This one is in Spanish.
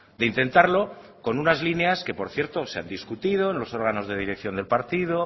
de intentarlo con unas líneas que por cierto se han discutido en los órganos de dirección de partido